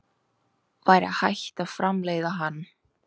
væri hægt að framleiða hann